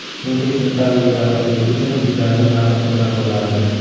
Chunki sentabrga yaqinligi uchun uylarning narxi qimmat bo‘lardi.